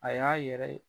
A y'a yɛrɛ